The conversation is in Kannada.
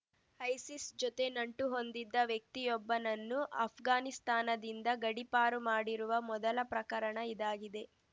ಐಸಿಸ್‌ ಜೊತೆ ನಂಟುಹೊಂದಿದ್ದ ವ್ಯಕ್ತಿಯೊಬ್ಬನನ್ನು ಅಷ್ಘಾನಿಸ್ತಾನದಿಂದ ಗಡೀಪಾರು ಮಾಡಿರುವ ಮೊದಲ ಪ್ರಕರಣ ಇದಾಗಿದೆ